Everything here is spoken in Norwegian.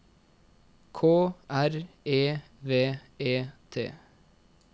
K R E V E T